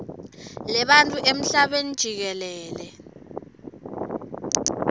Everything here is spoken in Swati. lebantfu emhlabeni jikelele